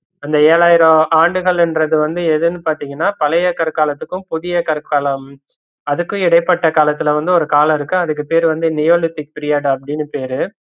ஏழாயிரம் ஆண்டுகள்ன்றதுன்னு வந்து எதுன்னு பாத்தீங்கன்னா பழையகற்காலத்துக்கும் புதியகற்காலம் அதுக்கு இடைப்பட்ட காலத்துல வந்து ஒரு காலம் இருக்கு அதுக்கு பேர்வந்து neolithic period அப்படின்னு பேரு